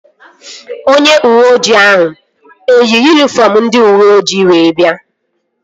Onye uweojii ahụ eyi yunifọm ndị uweoji wee bịa?